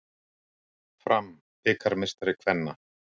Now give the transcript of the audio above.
Fram bikarmeistari kvenna